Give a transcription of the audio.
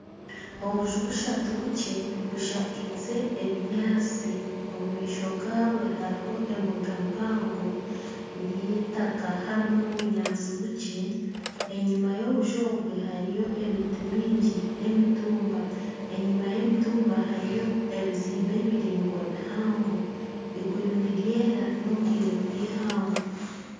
Obunju bushatu bukye bushakize ebinyaatsi omu maisho gabwo hariho embuga mpango ey'eitaaka harimu n'obunyaatsi bukye, enyima y'obuju obwe hariyo emiti mingi n'emitumba enyuma y'emitumba hariyo ebizimbe biraingwa bihango, eiguru niryera n'obwire bw'eihangwe.